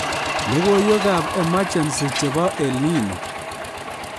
Logoiywekab emergency chebo EL Nino